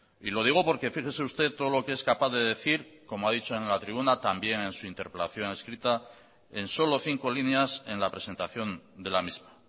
y lo digo porque fíjese usted todo lo que es capaz de decir como ha dicho en la tribuna también en su interpelación escrita en solo cinco líneas en la presentación de la misma